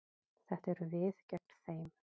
Þetta eru við gegn þeim.